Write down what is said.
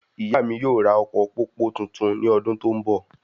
Ìyá mí yóò ra ọkọ pópó tuntun ní ọdún tó n bọ